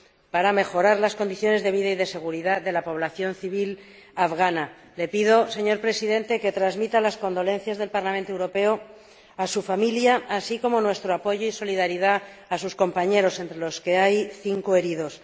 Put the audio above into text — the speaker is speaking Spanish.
para mejorar las condiciones de vida y de seguridad de la población civil afgana. Le pido, señor Presidente, que transmita las condolencias del Parlamento Europeo a su familia, así como nuestro apoyo y solidaridad a sus compañeros, entre los que hay cinco heridos.